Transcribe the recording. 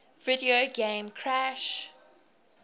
video game crash